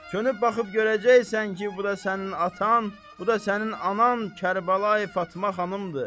Çönüb baxıb görəcəksən ki, bu da sənin atan, bu da sənin anan Kərbəlayı Fatma xanımdır.